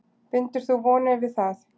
Bindur þú vonir við það?